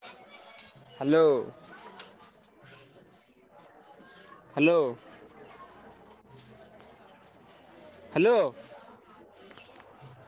Hello hello hello ।